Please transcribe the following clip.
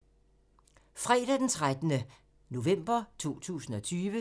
Fredag d. 13. november 2020